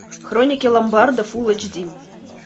хроники ломбарда фулл эйч ди